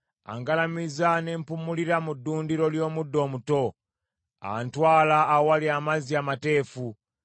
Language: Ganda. Angalamiza ne mpummulira mu ddundiro ly’omuddo omuto. Antwala awali amazzi amateefu.